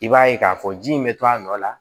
I b'a ye k'a fɔ ji in bɛ to a nɔ la